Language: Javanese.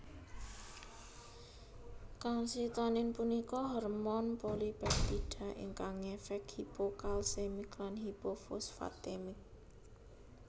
Kalsitonin punika hormon polipeptida ingkang ngefek hipokalsemik lan hipofosfatemik